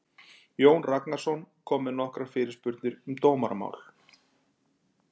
Jón Ragnarsson kom með nokkrar fyrirspurnir um dómaramál.